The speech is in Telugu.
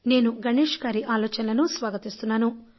నేను గణేష్ గారి ఆలోచనలను స్వాగతిస్తున్నాను